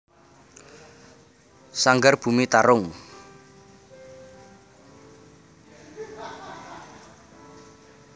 Sanggar Bumi Tarung